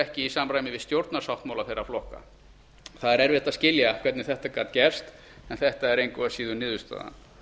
ekki í samræmi við stjórnarsáttmála þeirra flokka það er erfitt að skilja hvernig þetta gat gerst en þetta er engu að síður niðurstaðan